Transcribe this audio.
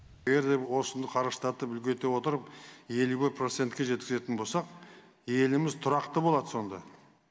егер де осыны қарыштатып үлкейтіп отырып елу бір процентке жеткізетін болсақ еліміз тұрақты болады сонда